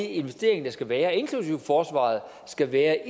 investering der skal være inklusive i forsvaret skal være